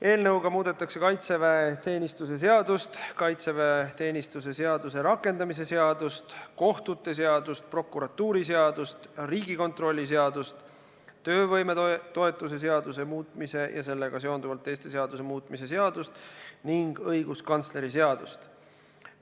Eelnõuga muudetakse kaitseväeteenistuse seadust, kaitseväeteenistuse seaduse rakendamise seadust, kohtute seadust, prokuratuuriseadust, Riigikontrolli seadust, töövõimetoetuse seaduse muutmise ja sellega seonduvalt teiste seaduste muutmise seadust ning õiguskantsleri seadust.